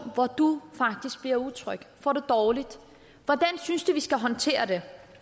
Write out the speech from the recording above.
hvor du faktisk bliver utryg og får det dårligt hvordan synes du vi skal håndtere det